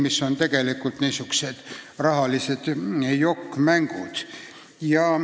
Need on tegelikult niisugused rahalised jokk-mängud.